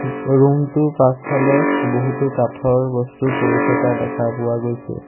Room টোৰ পাছফালে বহুতো কাঠৰ বস্তু পৰি থকা দেখা পোৱা গৈছে।